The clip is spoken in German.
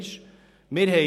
Ich sage es noch einmal: